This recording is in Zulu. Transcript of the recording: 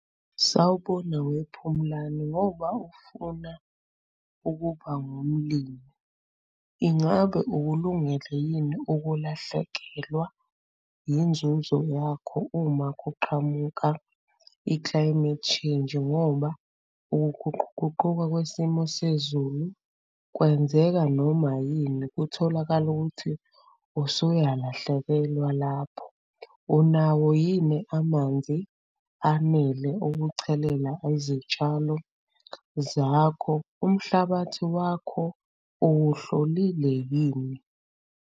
Sawubona wePhumlani. Ngoba ufuna ukuba ngumlimi, ingabe ukulungele yini ukulahlekelwa inzuzo yakho uma kuqhamuka i-climate change? Ngoba ukuguquguquka kwesimo sezulu kwenzeka noma yini, kutholakale ukuthi usuyalahlekelwa lapho. Unawo yini amanzi anele ukuchelela izitshalo zakho? Umhlabathi wakho uwuhlolile yini?